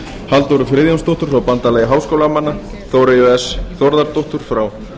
halldóru friðjónsdóttur frá bandalagi háskólamanna þóreyju s þórðardóttur frá